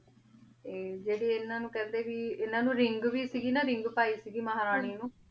ਆਯ ਜੇਰੀ ਇਨਾਂ ਨੂ ਕੇਹੰਡੀ ਸੀ ਇਨਾਂ ਨੂ ring ਵੀ ਸੀ ਨਾ ring ਪੈ ਮਹਾਰਾਨੀ ਨੂ